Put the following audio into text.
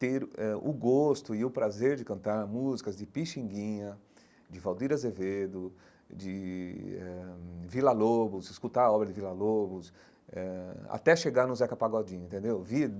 ter eh o gosto e o prazer de cantar músicas de Pixinguinha, de Valdir Azevedo, de eh Vila-Lobos, escutar a obra de Vila-Lobos eh, até chegar no Zeca Pagodinho entendeu.